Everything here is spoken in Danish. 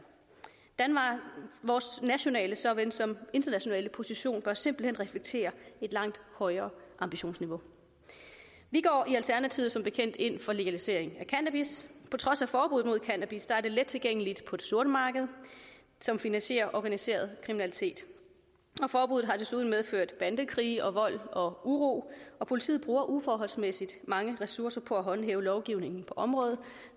vores nationale såvel som internationale position bør simpelt hen reflektere et langt højere ambitionsniveau vi går i alternativet som bekendt ind for legalisering af cannabis på trods af forbuddet mod cannabis er det let tilgængeligt på det sorte marked som finansierer organiseret kriminalitet og forbuddet har desuden medført bandekrige og vold og uro og politiet bruger uforholdsmæssig mange ressourcer på at håndhæve lovgivningen på området